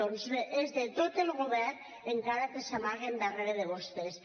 doncs bé és de tot el govern encara que s’amaguen darrere de vostès